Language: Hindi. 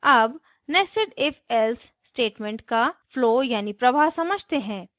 अब nested ifelse statement का flow यानी प्रवाह समझते हैं